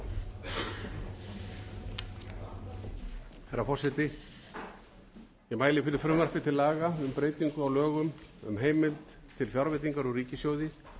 herra forseti ég mæli fyrir frumvarpi til laga um breytingu á lögum um heimild til fjárveitinga úr ríkissjóði